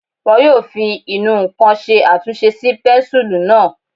Wọ́n yóò fi ìnù-ǹkan ṣe àtúnṣe sí pẹ́ńsùlú náà